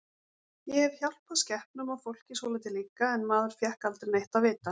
Ég hef hjálpað skepnum og fólki svolítið líka en maður fékk aldrei neitt að vita.